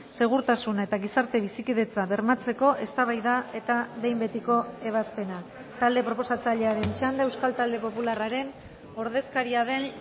segurtasuna eta gizarte bizikidetza bermatzeko eztabaida eta behin betiko ebazpena talde proposatzailearen txanda euskal talde popularraren ordezkaria den